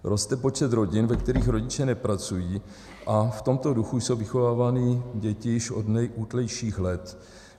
Roste počet rodin, ve kterých rodiče nepracují, a v tomto duchu jsou vychovávány děti už od nejútlejších let.